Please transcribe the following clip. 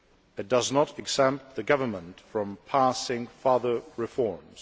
It does not exempt the government from passing further reforms.